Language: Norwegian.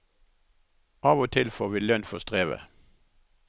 Av og til får vi lønn for strevet.